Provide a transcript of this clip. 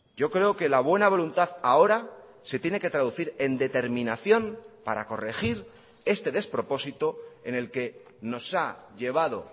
yo creo que la buena voluntad ahora se tiene que traducir en determinación para corregir este despropósito en el que nos ha llevado